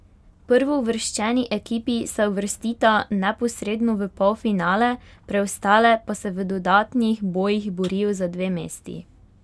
Prvouvrščeni ekipi se uvrstita neposredno v polfinale, preostale pa se v dodatnih bojih borijo za dve mesti.